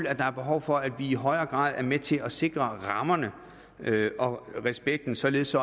at der er behov for at vi i højere grad er med til at sikre rammerne og respekten således